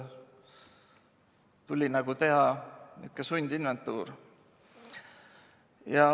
Tuli teha sundinventuur.